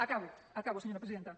acabo acabo senyora presidenta